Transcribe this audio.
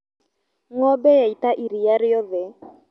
Ngombe yaita iria riothe.